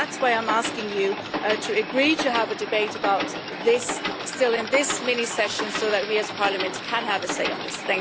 That's why I'm asking you to agree to have a debate about this still in this mini session, so that we as Parliament can have a say on this.